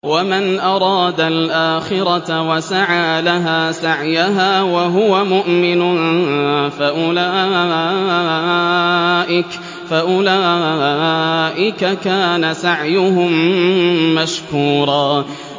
وَمَنْ أَرَادَ الْآخِرَةَ وَسَعَىٰ لَهَا سَعْيَهَا وَهُوَ مُؤْمِنٌ فَأُولَٰئِكَ كَانَ سَعْيُهُم مَّشْكُورًا